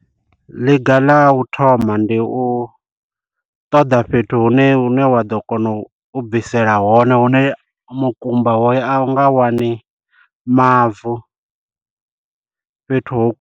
Ḽiga ḽa u thoma ndi u ṱoḓa fhethu hune hu ne wa ḓo kona u bvisela hone hune mukumba hoyo a u nga wani mavu fhethuho.